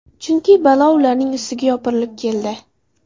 Chunki balo ularning ustiga yopirilib keldi.